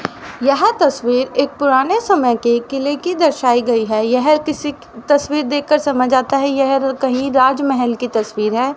यह तस्वीर एक पुराने समय के किले की दर्शायी गई हैं यह किसी तस्वीर देख कर समझ आता हैं यह कही राजमहल की तस्वीर है।